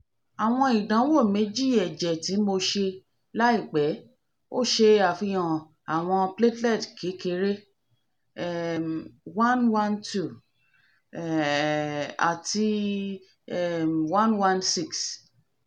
awọn idanwo meji ẹjẹ mi ti mo se laipe fihan awọn platelet kekere um one hundred twelve um ati um one hundred sixteen